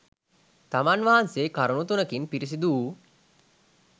තමන් වහන්සේ කරුණු තුනකින් පිරිසිදු වූ